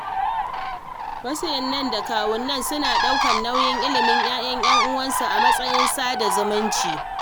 Wasu innai da kawunnai suna ɗaukar nauyin ilimin ‘ya’yan ‘yan uwansu a matsayin sada zumunci.